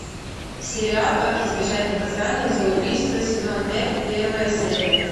сериал как избежать наказания за убийство сезон пять первая серия